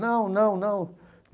Não, não, não.